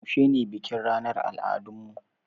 Yaushe ne bikin ranar al'adun mu?